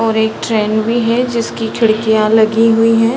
और एक ट्रैन भी है जिसकी खिड़कियाँ लगी हुई हैं |